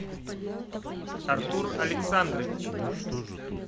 артур александрович